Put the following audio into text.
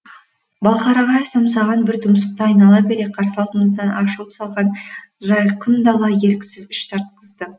балқарағайы самсаған бір тұмсықты айнала бере қарсы алдымыздан ашылып салған жайқын дала еріксіз іш тартқызды